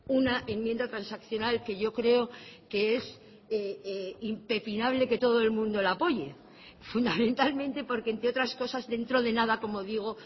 una enmienda transaccional que yo creo que es impepinable que todo el mundo la apoye fundamentalmente porque entre otras cosas dentro de nada como digo